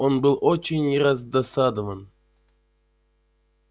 он был очень раздосадован